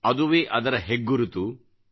ಅದುವೇ ಅದರ ಹೆಗ್ಗುರುತು